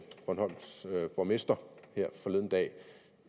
bornholms borgmester her forleden dag